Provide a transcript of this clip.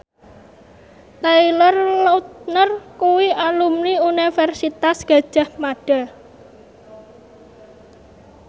Taylor Lautner kuwi alumni Universitas Gadjah Mada